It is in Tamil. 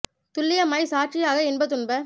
துள்ளியமாய்ச் சாட்சியாகி இன்ப துன்ப